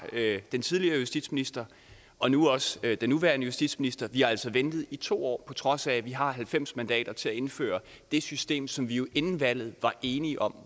af den tidligere justitsminister og nu også af den nuværende justitsminister vi har altså ventet i to år på trods af at vi har halvfems mandater til at indføre det system som vi jo inden valget var enige om